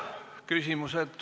Ja nüüd küsimused.